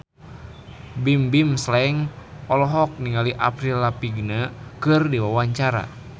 Bimbim Slank olohok ningali Avril Lavigne keur diwawancara